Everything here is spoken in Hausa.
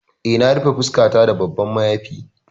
Eh na rufe fuskata da babban mayafi.